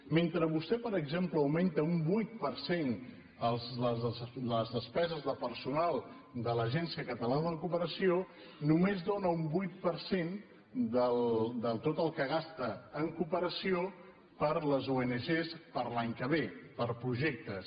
mentre vostè per exemple augmenta un vuit per cent les despeses de personal de l’agència catalana de cooperació només dóna un vuit per cent de tot el que gasta en cooperació per a les ong per a l’any que ve per a projectes